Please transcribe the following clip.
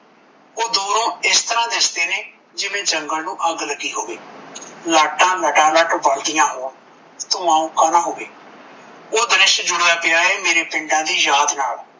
ਓਹ ਦੂਰੋਂ ਇਸ ਤਰਾਂ ਦਿਸਦੇ ਨੇ ਜਿਵੇਂ ਜੰਗਲ ਨੂੰ ਅੱਗ ਲੱਗੀ ਹੋਵਰ ਲਾਟਾਂ ਲਟਾ ਲਟ ਬਲਦੀਆਂ ਹੋਣ ਧੂਆਂ ਉੱਕਾ ਦਾ ਹੋਵੇ ਓਹ ਦ੍ਰਿਸ਼ ਜੁੜਿਆ ਪਿਆ ਏ ਮੇਰੇ ਪਿੰਡਾਂ ਦੀ ਯਾਦ ਨਾਲ